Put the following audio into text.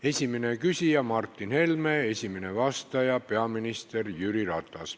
Esimene küsija on Martin Helme, esimene vastaja peaminister Jüri Ratas.